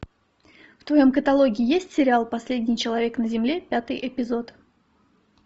в твоем каталоге есть сериал последний человек на земле пятый эпизод